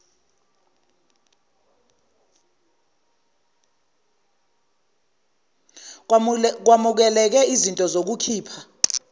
kwamukeleke iznto zokukhipha